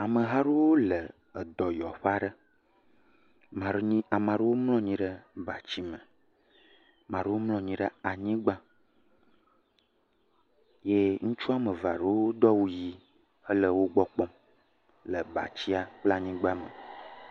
Ameha aɖewo le edɔyɔƒe aɖe. Ame aɖewo mlɔ anyi ɖe batsi me. Ame aɖewo mlɔ anyi ɖe anyigba eye ŋutsu wɔme eve aɖewo do awu ʋi hele wogbɔ kpɔm le batsia le anyigba me.